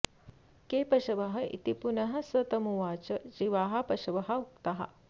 के पशव इति पुनः स तमुवाच जीवाः पशव उक्ताः